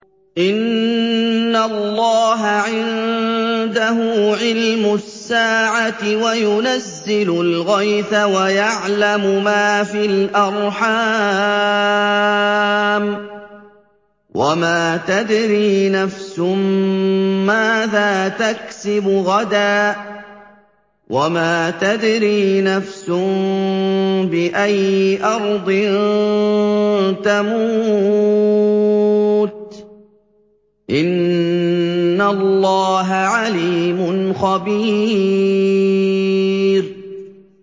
إِنَّ اللَّهَ عِندَهُ عِلْمُ السَّاعَةِ وَيُنَزِّلُ الْغَيْثَ وَيَعْلَمُ مَا فِي الْأَرْحَامِ ۖ وَمَا تَدْرِي نَفْسٌ مَّاذَا تَكْسِبُ غَدًا ۖ وَمَا تَدْرِي نَفْسٌ بِأَيِّ أَرْضٍ تَمُوتُ ۚ إِنَّ اللَّهَ عَلِيمٌ خَبِيرٌ